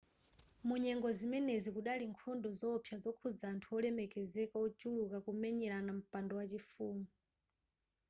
mu nyengo zimenezi kudali nkhondo zoopsa zokhudza anthu wolemekezeka wochuluka kumenyerana mpando wachifumu